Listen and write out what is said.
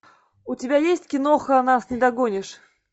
у тебя есть киноха нас не догонишь